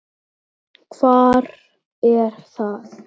Treður sér inn.